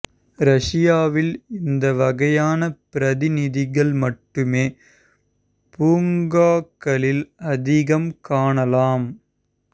ரஷ்யாவில் இந்த வகையான பிரதிநிதிகள் மட்டுமே பூங்காக்களில் அதிகம் காணலாம்